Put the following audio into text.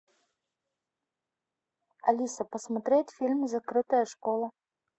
алиса посмотреть фильм закрытая школа